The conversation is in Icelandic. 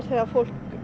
þegar fólk